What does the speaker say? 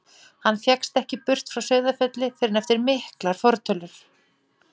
Hann fékkst ekki burt frá Sauðafelli fyrr en eftir miklar fortölur.